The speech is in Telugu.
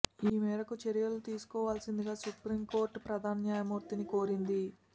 ఈ మేరకు చర్యలు తీసుకోవాల్సిందిగా సుప్రీం కోర్టు ప్రధాన న్యాయమూర్తిని కోరింది